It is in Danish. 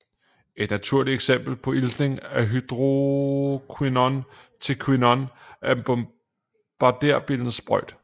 Et naturligt eksempel på iltning af hydroquinon til quinon er bombarderbillens sprøjt